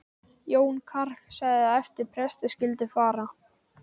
Jón karl sagði að eftir presti skyldi fara.